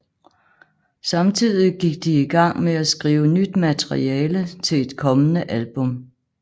Samtidig gik de i gang med at skrive nyt materiale til et kommende album